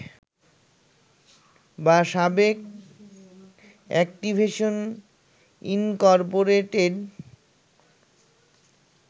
বা সাবেক Activision Incorporated